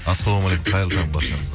ассалаумағалейкум қайырлы таң баршаларыңызға